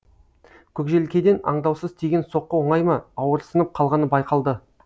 көкжелкеден аңдаусыз тиген соққы оңай ма ауырсынып қалғаны байқалды